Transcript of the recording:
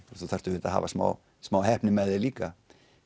og þú þarft auðvitað að hafa smá smá heppni með þér líka